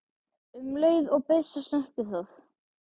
um leið og byssa snertir það.